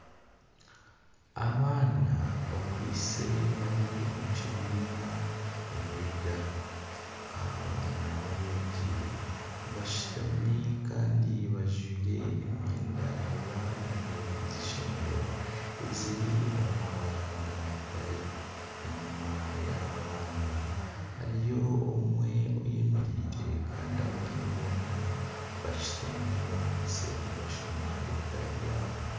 Abaana bakwaitse bari omu kibiina nibega . Abaana babegi bashutami Kandi bajwire emyenda y'eishomero eri omu mabara ga mutare ,enyuma yaba baana hariyo omwe oyemereire Kandi abandi boona bashutami bakwaitse nibashoma ebitabo byabo.